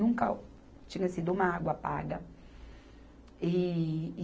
Nunca tinha sido uma água paga. E